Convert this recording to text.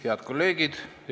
Head kolleegid!